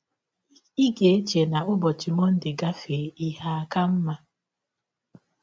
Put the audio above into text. “ Ị ga - eche na ụbọchị Mọnde gafee, ihe aka mma.